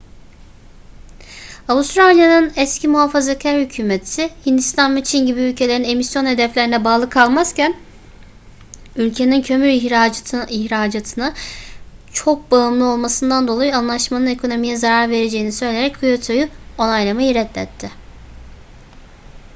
avustralya'nın eski muhafazakar hükümeti hindistan ve çin gibi ülkelerin emisyon hedeflerine bağlı kalmazken ülkenin kömür ihracatına çok bağımlı olmasından dolayı anlaşmanın ekonomiye zarar vereceğini söyleyerek kyoto'yu onaylamayı reddetti